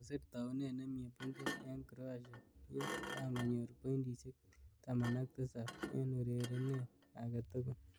Kasir taunet nemei Bungei eng Croatia ye kangonyor pointishek 17 eng urerenet age togul.